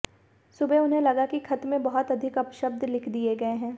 सुबह उन्हें लगा कि खत में बहुत अधिक अपशब्द लिख दिए गए हैं